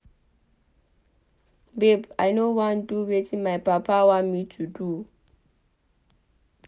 Babe I no wan do wetin my papa want me to do.